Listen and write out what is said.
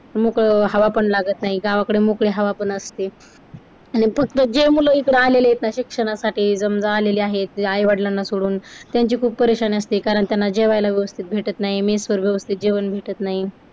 मोकळ हवा पण लागत नाही. गावाकडे मोकळी हवा असते आणि फक्त जे मुलं इकड आलेले आहेत ना शिक्षणासाठी समजा आलेले आहेत ते आई-वडिलांना सोडून त्यांची खुप परेशानी असते कारण त्याला जेवायला व्यवस्थित भेटत नाही mess वरती वरती व्यवस्थित जेवण भेटत नाही.